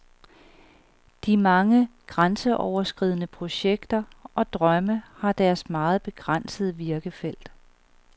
De mange grænseoverskridende projekter og drømme har deres meget begrænsede virkefelt.